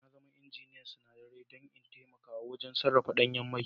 Na zama injiniyan sinadarai don in taimaka wajen sarrafa danyen mai